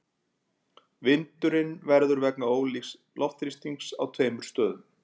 Vindurinn verður vegna ólíks loftþrýstings á tveimur stöðum.